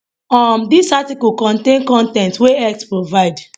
um dis article contain con ten t wey x provide